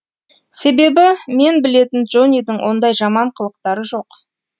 себебі мен білетін джоннидің ондай жаман қылықтары жоқ